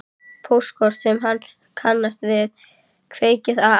Póstkort sem hann kannast við, kveðja frá Ameríku.